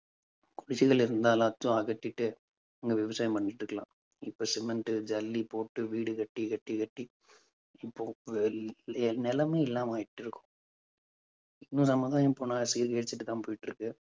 குடிசைகள் இருந்தா எல்லாத்தையும் அகற்றிட்டு அங்க விவசாயம் பண்ணிட்டு இருக்கலாம். இப்ப cement ஜல்லி போட்டு வீடு கட்டி கட்டி கட்டி இப்போ இல்லாம ஆயிட்டிருக்கும். இன்னும் போயிட்டிருக்கு.